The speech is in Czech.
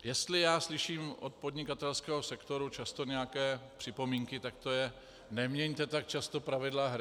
Jestli já slyším od podnikatelského sektoru často nějaké připomínky, tak to je: Neměňte tak často pravidla hry!